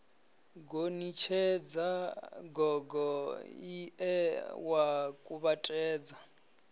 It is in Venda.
gonitshedza gogo ie wa kuvhatedza